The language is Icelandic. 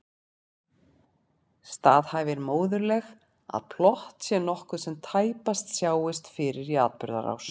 Staðhæfir móðurleg að plott sé nokkuð sem tæpast sjáist fyrir í atburðarás.